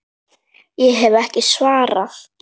Ég hef ekki svarið.